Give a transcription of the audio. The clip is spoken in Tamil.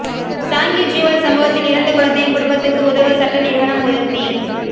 சாங்கி ஜுவல் சம்பவத்தில் இறந்த குழந்தையின் குடும்பத்துக்கு உதவ சட்ட நிறுவனம் உறுதி